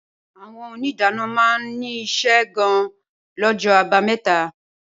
Awõn òníìdánõ má ní ìse gan lõjõ àbámetá